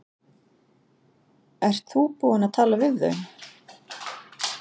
Ert þú búinn að tala við þau?